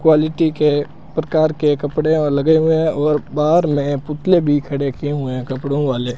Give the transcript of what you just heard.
Quality के प्रकार के कपड़े लगे हुए हैं और बाहर में पुतले भी खड़े किए हुए है कपड़ों वाले।